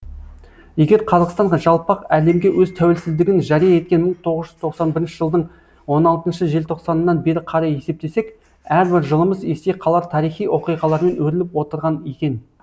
егер қазақстан жалпақ әлемге өз тәуелсіздігін жария еткен мың тоғыз жүз тоқсан бірінші жылдың он алтыншы желтоқсанынан бері қарай есептесек әрбір жылымыз есте қалар тарихи оқиғалармен өріліп отырған екен